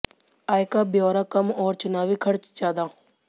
आय का ब्योरा कम और चुनावी खर्च ज्यादा